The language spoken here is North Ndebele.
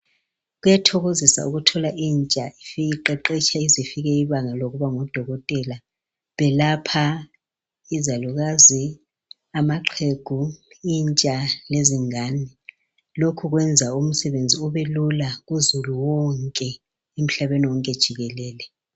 Kuyathokozisa ukuthola intsha ifika iqeqesha ize ifika ibanga lokuba ngudokotela. Belapha izalukazi, amaxhegu, intsha lezingane, lokhu kwenza umsebenzi ubelula kuzulu wonke emhlabeni wonke jikelele.